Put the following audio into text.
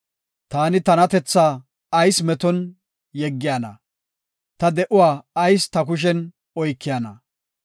Taani tanatethaa ayis meton yeggiyana? Ta de7uwa ayis ta kushen oykiyana?